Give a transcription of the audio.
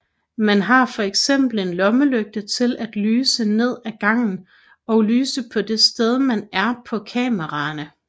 Man har fx en lommelygte til at lyse ned af gangen og lyse på det sted man er på kameraerne